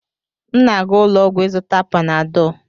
m na-aga ụlọ ọgwụ ịzụta Panadọ